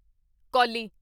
ਕੌਲੀ